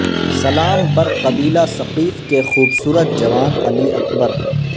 سلام بر قبیلہ ثقیف کے خوبصورت جوان علی اکبر